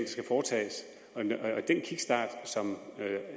skal foretages og den kickstart som